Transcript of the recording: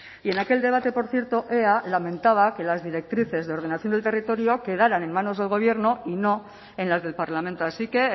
y en aquel debate por cierto ea lamentaba que las directrices de ordenación del territorio quedaran en manos del gobierno y no en las del parlamento así que